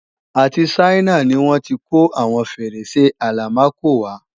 Àti Ṣáínà ni wọ́n tí kó àwọn Fèrèsé Àlámakò wá